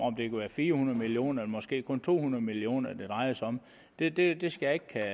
om det kan være fire hundrede million kroner eller måske kun to hundrede million kr det drejer sig om det det skal jeg